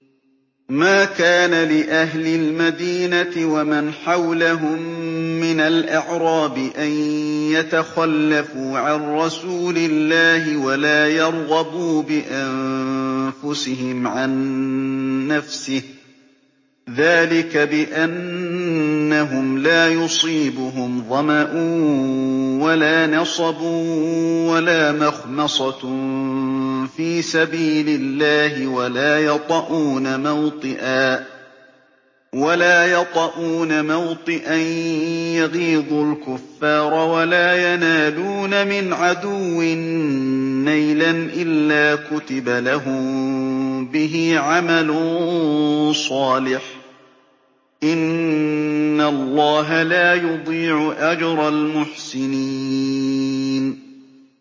مَا كَانَ لِأَهْلِ الْمَدِينَةِ وَمَنْ حَوْلَهُم مِّنَ الْأَعْرَابِ أَن يَتَخَلَّفُوا عَن رَّسُولِ اللَّهِ وَلَا يَرْغَبُوا بِأَنفُسِهِمْ عَن نَّفْسِهِ ۚ ذَٰلِكَ بِأَنَّهُمْ لَا يُصِيبُهُمْ ظَمَأٌ وَلَا نَصَبٌ وَلَا مَخْمَصَةٌ فِي سَبِيلِ اللَّهِ وَلَا يَطَئُونَ مَوْطِئًا يَغِيظُ الْكُفَّارَ وَلَا يَنَالُونَ مِنْ عَدُوٍّ نَّيْلًا إِلَّا كُتِبَ لَهُم بِهِ عَمَلٌ صَالِحٌ ۚ إِنَّ اللَّهَ لَا يُضِيعُ أَجْرَ الْمُحْسِنِينَ